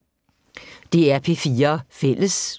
DR P4 Fælles